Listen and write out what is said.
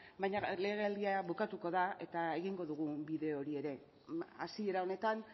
baina legealdia bukatuko da eta egingo dugu bide hori ere hasiera honetan